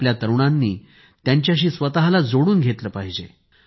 आपल्या तरुणांनी यांच्याशी स्वतःला जोडून घेतले पाहिजे